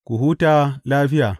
Ku huta lafiya.